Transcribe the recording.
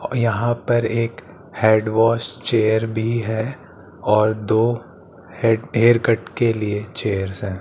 और यहां पर एक हेड वाश चेयर भी है और दो हे हेयर कट के लिए चेयर्स है।